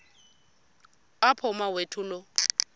apho umawethu lo